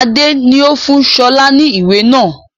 Adé ni ó fún sọlá ni ìwé náà